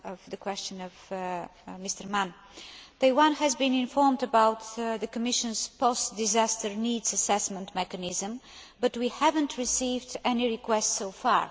the question by Mr Mann Taiwan has been informed of the Commission's post disaster needs assessment mechanism, but we have not received any requests so far.